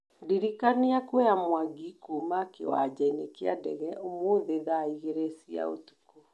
ndirikania kuoya mwangi kuuma kĩwanja kĩa ndege ũmũthĩ thaa igĩrĩ cia ũtũkũ